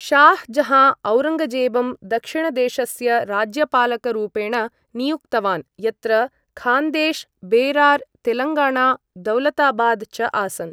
शाह् जहाँ औरङ्गजेबं दक्षिणदेशस्य राज्यपालक रूपेण नियुक्तवान्, यत्र खान्देश्, बेरार्, तेलङ्गाणा, दौलताबाद् च आसन्।